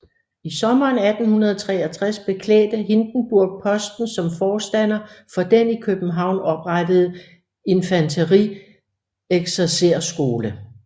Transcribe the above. I sommeren 1863 beklædte Hindenburg posten som forstander for den i København oprettede infanterieksercerskole